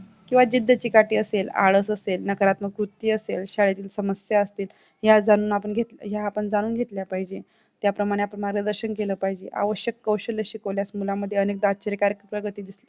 किंवा जिद्द चीकाटी असेल, आळस असेल, नकारात्मक बुद्धी असेल, शाळेतील समस्या असते या जाणून आपण घेतलं या आपण जाणून घेतला पाहिजे त्याप्रमाणे आपण मार्गदर्शन केला पाहिजे, आवश्यक कौशल्य शिकवल्यास मुलांमध्ये अनेक दाचिकारीक प्रगती दिसली